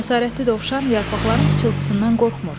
Cəsarətli dovşan yarpaqların pıçıltısından qorxmur.